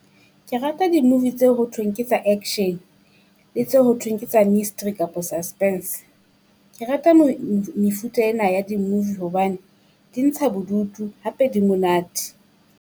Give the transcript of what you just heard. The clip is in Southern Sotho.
Ke rata di-movie tse ho thweng ke tsa action le tse ho thweng ke tsa mystery kapo suspense. Ke rata mefuta ena ya di-movie hobane di ntsha bodutu hape di monate.